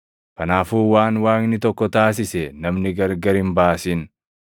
Kanaafuu waan Waaqni tokko taasise namni gargar hin baasin.”